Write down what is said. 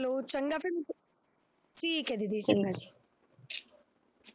ਚੰਗਾ ਫਿਰ ਠੀਕ ਹੈ ਦੀਦੀ ਚੰਗਾ ਜੀ।